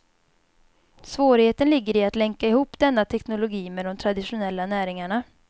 Svårigheten ligger i att länka ihop denna teknologi med de traditionella näringarna.